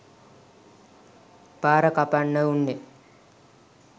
පාර කපන්නවුන් ය.